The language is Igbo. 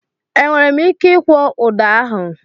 E nwere m ike ikwọ ụda ahụ?